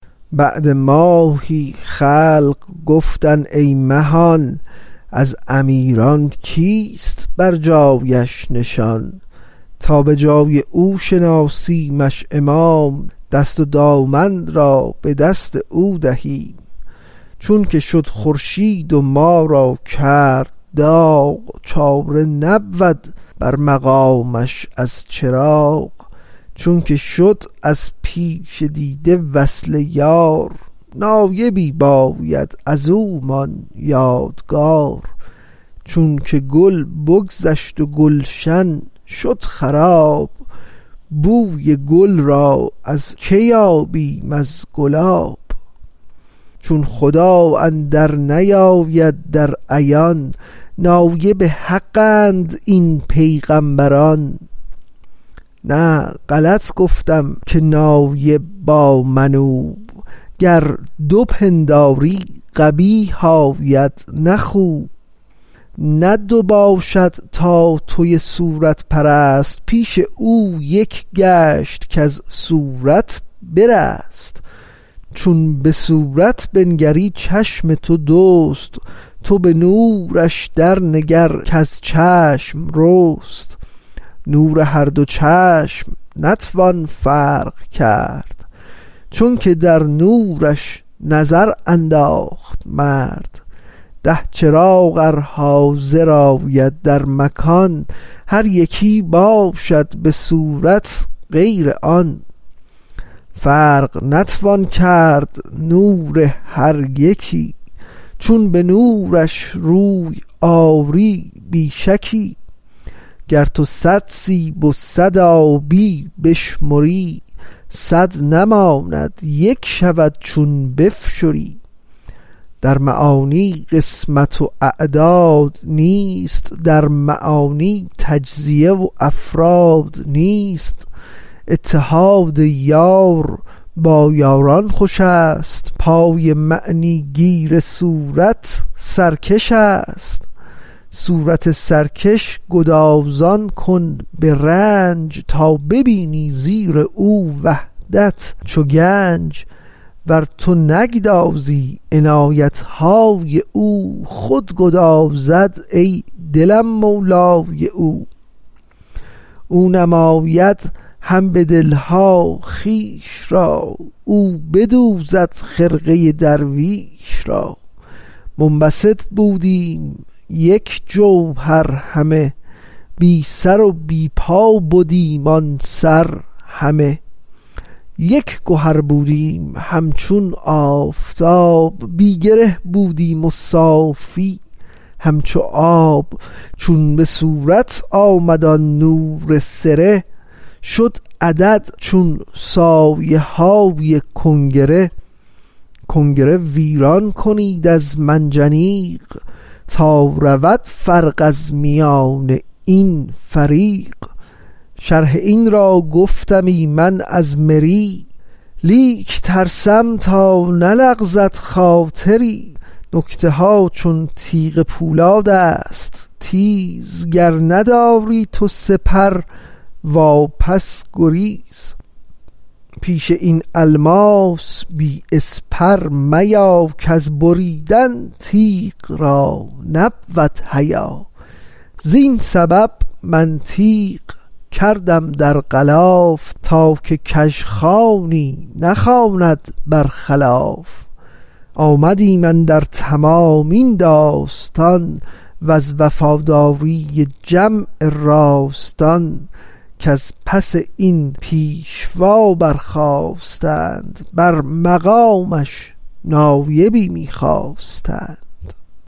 بعد ماهی خلق گفتند ای مهان از امیران کیست بر جایش نشان تا به جای او شناسیمش امام دست و دامن را به دست او دهیم چونک شد خورشید و ما را کرد داغ چاره نبود بر مقامش از چراغ چونک شد از پیش دیده وصل یار نایبی باید ازومان یادگار چونک گل بگذشت و گلشن شد خراب بوی گل را از که یابیم از گلاب چون خدا اندر نیاید در عیان نایب حق اند این پیغامبران نه غلط گفتم که نایب با منوب گر دو پنداری قبیح آید نه خوب نه دو باشد تا توی صورت پرست پیش او یک گشت کز صورت برست چون به صورت بنگری چشم تو دوست تو به نورش در نگر کز چشم رست نور هر دو چشم نتوان فرق کرد چونک در نورش نظر انداخت مرد ده چراغ ار حاضر آید در مکان هر یکی باشد بصورت غیر آن فرق نتوان کرد نور هر یکی چون به نورش روی آری بی شکی گر تو صد سیب و صد آبی بشمری صد نماند یک شود چون بفشری در معانی قسمت و اعداد نیست در معانی تجزیه و افراد نیست اتحاد یار با یاران خوشست پای معنی گیر صورت سرکشست صورت سرکش گدازان کن برنج تا ببینی زیر او وحدت چو گنج ور تو نگدازی عنایتهای او خود گدازد ای دلم مولای او او نماید هم به دلها خویش را او بدوزد خرقه درویش را منبسط بودیم یک جوهر همه بی سر و بی پا بدیم آن سر همه یک گهر بودیم همچون آفتاب بی گره بودیم و صافی همچو آب چون بصورت آمد آن نور سره شد عدد چون سایه های کنگره گنگره ویران کنید از منجنیق تا رود فرق از میان این فریق شرح این را گفتمی من از مری لیک ترسم تا نلغزد خاطری نکته ها چون تیغ پولادست تیز گر نداری تو سپر وا پس گریز پیش این الماس بی اسپر میا کز بریدن تیغ را نبود حیا زین سبب من تیغ کردم در غلاف تا که کژخوانی نخواند برخلاف آمدیم اندر تمامی داستان وز وفاداری جمع راستان کز پس این پیشوا بر خاستند بر مقامش نایبی می خواستند